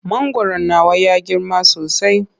Mangwaron nawa ya girma sosai.